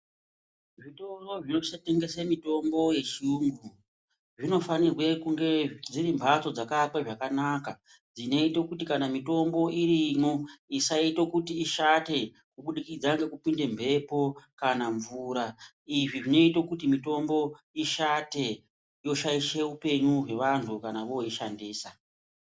Zvitoro zvinotengese mitombo yechiyungu zvinofanirwe kunge dziri mbatso dzakavakwa zvakanaka dzinoite kuti kana mitombo irimwo isaite kuti ishate kubudikidza ngekupinde mhepo kana mvura izvi zvinoite kuti mitombo ishate yoshaishe upenyu hwevanhu kana voishandisa.